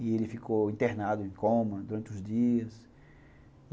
E ele ficou internado em coma durante os dias.